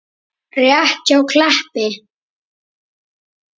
Rétt hjá Kleppi.